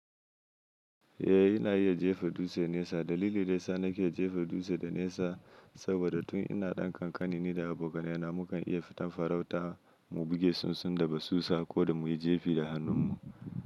Eh ina iya jefa dutse nesa. Dalili daya sa nake jefa dutse da nesa saboda tun ina ɗan kankani ni da abokanai na mukan iya fita farauta mu buge tsuntsun da basusa ko da muyi jefi da hannun mu.